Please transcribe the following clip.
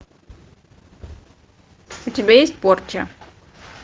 у тебя есть порча